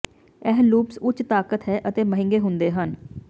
ਇਹ ਲੂਪਸ ਉੱਚ ਤਾਕਤ ਹੈ ਅਤੇ ਮਹਿੰਗੇ ਹੁੰਦੇ ਹਨ